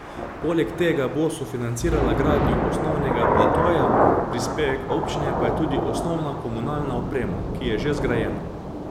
Poleg tega bo sofinancirala gradnjo osnovnega platoja, prispevek občine pa je tudi osnovna komunalna oprema, ki je že zgrajena.